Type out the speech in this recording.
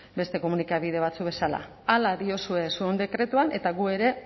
beste komunikabide batzuek bezala hala diozue zuen dekretuan eta gu ere